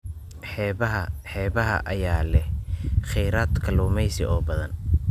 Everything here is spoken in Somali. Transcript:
Xeebaha xeebaha ayaa leh kheyraad kalluumeysi oo badan.